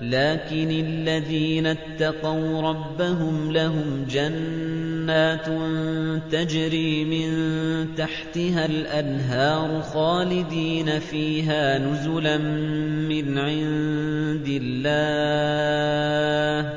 لَٰكِنِ الَّذِينَ اتَّقَوْا رَبَّهُمْ لَهُمْ جَنَّاتٌ تَجْرِي مِن تَحْتِهَا الْأَنْهَارُ خَالِدِينَ فِيهَا نُزُلًا مِّنْ عِندِ اللَّهِ ۗ